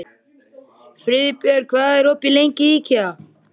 Friðbjörg, hvað er lengi opið í IKEA?